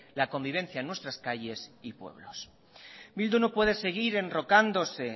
la convivencia en nuestras calles y pueblos bildu no puede seguir enrocándose